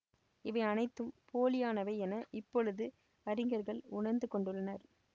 இவை அனைத்தும் போலியானவை என இப்பொழுது அறிஞர்கள் உணர்ந்துகொண்டுள்ளனர்